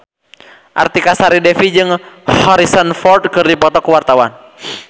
Artika Sari Devi jeung Harrison Ford keur dipoto ku wartawan